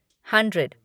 hundred